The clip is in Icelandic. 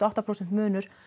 átta prósent munur